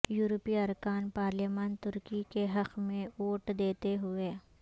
یورپی ارکان پارلیمان ترکی کے حق میں ووٹ دیتے ہوئے